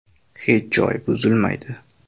Hech joy buzilmaydi.